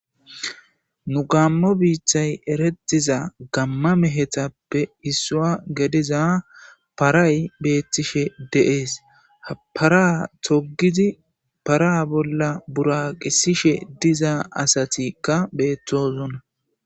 Nu gaammo dere wogan eretiza gamma mehetape issa gidiza paray beetishe de'ees. Ha para toggidi para bolla buraqisishe diza asati betosona.